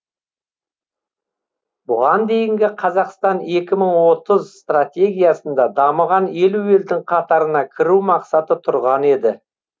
бұған дейінгі қазақстан екі мың отыз стратегиясында дамыған елу елдің қатарына кіру мақсаты тұрған еді